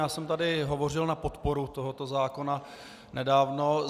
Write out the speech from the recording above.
Já jsem tady hovořil na podporu tohoto zákona nedávno.